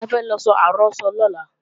Bẹ́ẹ̀ni, a fẹ́ lọ so àrọ́sọ lọ́la